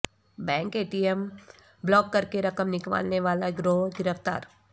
bank A T M block کرکے رقم نکلوانے والا گروہ گرفتار